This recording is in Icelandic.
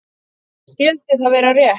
Skyldi það vera rétt?